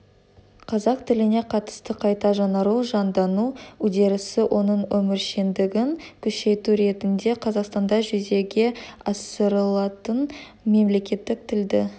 қазақ тіліне қатысты қайта жаңару жандану үдерісі оның өміршеңдігін күшейту ретінде қазақстанда жүзеге асырылатын мемлекеттік тілді